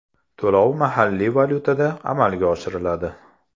To‘lov mahalliy valyutada amalga oshiriladi.